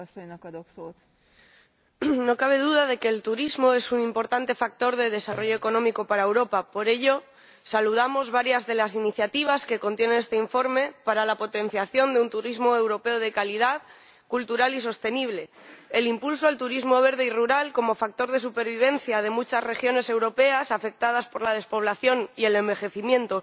Señora Presidenta, no cabe duda de que el turismo es un importante factor de desarrollo económico para Europa. Por ello, saludamos varias de las iniciativas que contiene este informe para la potenciación de un turismo europeo de calidad, cultural y sostenible, el impulso al turismo verde y rural como factor de supervivencia de muchas regiones europeas afectadas por la despoblación y el envejecimiento,